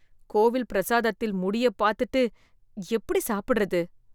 கோவில் பிரசாதத்தில் முடியப் பாத்துட்டு எப்படி சாப்பிடுறது?